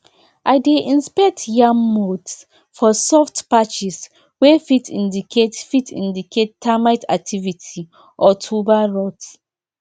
i dey inspect yam mounds for soft patches wey fit indicate fit indicate termite activity or tuber rot